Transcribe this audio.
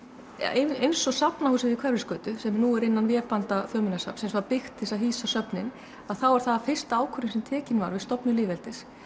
eins og Safnahúsið við Hverfisgötu sem nú er innan vébanda Þjóðminjasafnsins var byggt til að hýsa söfnin þá er það fyrsta ákvörðun sem tekin var við stofnun lýðveldis